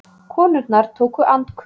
Konurnar tóku andköf